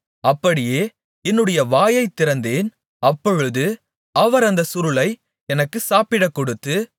அப்படியே என்னுடைய வாயைத் திறந்தேன் அப்பொழுது அவர் அந்தச் சுருளை எனக்கு சாப்பிடக்கொடுத்து